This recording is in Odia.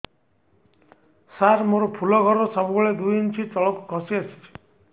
ସାର ମୋର ଫୁଲ ଘର ସବୁ ବେଳେ ଦୁଇ ଇଞ୍ଚ ତଳକୁ ଖସି ଆସିଛି